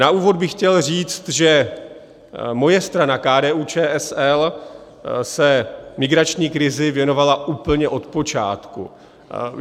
Na úvod bych chtěl říci, že moje strana KDU-ČSL se migrační krizi věnovala úplně od počátku.